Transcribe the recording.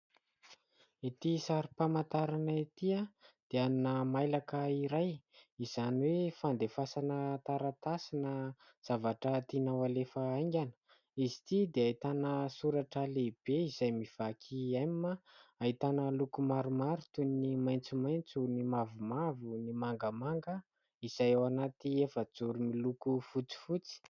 Ity sary famantarana ity dia ana mailaka iray izany hoe fandefasana taratasy na zavatra tiana ho alefa haingana. Izy ity dia ahitana soratra lehibe izay mivaky "M". Ahitana loko maromaro toy ny maitsomaitso, ny mavomavo, ny mangamanga, izay ao anaty efajoro miloko fotsifotsy.